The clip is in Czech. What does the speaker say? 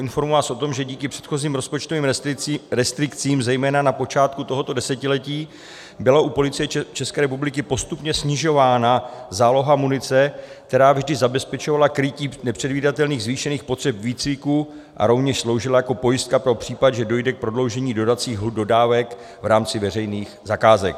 Informuji vás o tom, že díky předchozím rozpočtovým restrikcím zejména na počátku tohoto desetiletí byla u Policie České republiky postupně snižována záloha munice, která vždy zabezpečovala krytí nepředvídatelných zvýšených potřeb výcviku a rovněž sloužila jako pojistka pro případ, že dojde k prodloužení dodacích lhůt dodávek v rámci veřejných zakázek.